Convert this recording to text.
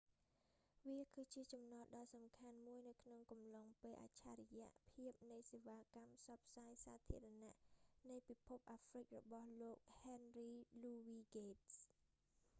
វាគឺជាចំណតដ៏សំខាន់មួយនៅក្នុងកំឡុងពេលអច្ឆរិយៈភាពនៃសេវាកម្មផ្សព្វផ្សាយសាធារណៈនៃពិភពអាហ្រ្វិករបស់លោក ហែនរី លូវី ហ្គេតស៍